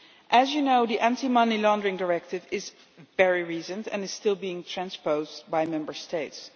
As you know, the Anti Money Laundering Directive is very recent and is still being transposed by Member States.